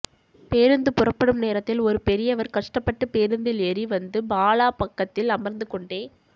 பேருந்து புறப்படும் நேரத்தில் ஒரு பெரியவர் கஷ்ட்டப்பட்டு பேருந்தில் ஏறி வந்து பாலா பக்கத்தில் அமர்ந்துக்கொண்டே